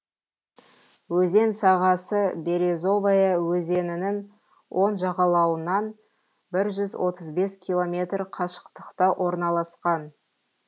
өзен сағасы березовая өзенінің оң жағалауынан бір жүз отыз бес километр қашықтықта орналасқан